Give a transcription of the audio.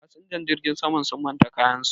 fasinjan jirgin saman sun manta kayansu